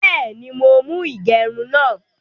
Bẹ́ẹ̀ni, mọ̀ mú igerún náà.